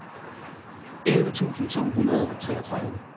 elleve tusind to hundrede og treogtredive